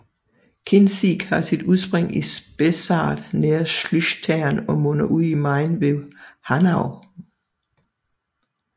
Kinzig har sit udspring i Spessart nær Schlüchtern og munder ud i Main ved Hanau